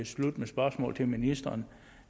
slut med spørgsmål til ministeren